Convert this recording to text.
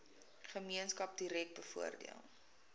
gemeenskap direk bevoordeel